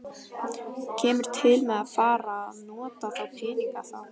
Kemur til með að fara að nota þá peninga þá?